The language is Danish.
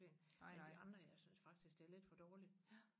men de andre jeg synes faktisk det er lidt for dårligt